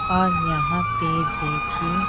और यहां पे देखिए--